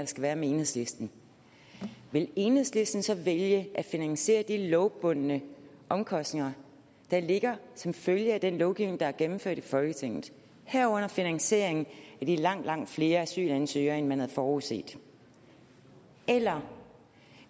skal være med enhedslisten vil enhedslisten så vælge at finansiere de lovbundne omkostninger der ligger som følge af den lovgivning der er gennemført i folketinget herunder finansieringen af de langt langt flere asylansøgere end man havde forudset eller